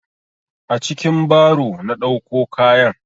A cikin baro na ɗauko kayan.